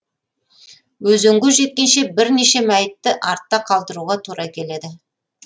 өзенге жеткенше бірнеше мәйітті артта қалдыруға тура келеді